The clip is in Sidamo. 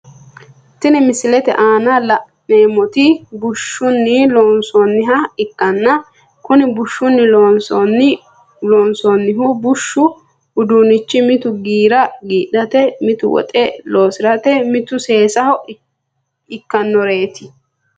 Tini misilete aana la`neemoti bushshuni loonsoniha ikanna kuni bushshuni loonsonihu bushshu uduunichi mitu giira giidhate mittu woxi loosirate mittu seesaho ikanoreeti.